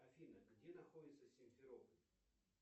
афина где находится симферополь